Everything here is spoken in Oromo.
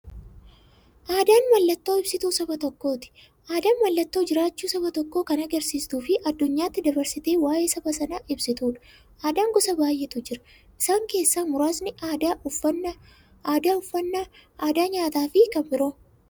Aadaan mallattoo ibsituu saba tokkooti. Aadaan mallattoo jiraachuu saba tokkoo kan agarsiistufi addunyyaatti dabarsitee waa'ee saba sanaa ibsituudha. Aadaan gosa baay'eetu jira. Isaan keessaa muraasni aadaa, uffannaa aadaa nyaataafi kan biroo.